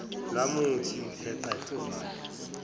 lwamuthi heqe uvalo